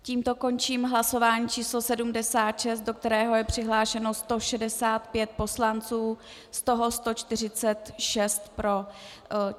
Tímto končím hlasování číslo 76, do kterého je přihlášeno 165 poslanců, z toho 146 pro.